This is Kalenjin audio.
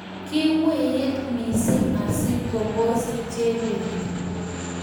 kiwiit missing asigombus Chebet